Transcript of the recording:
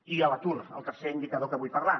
i l’atur el tercer indicador de què vull parlar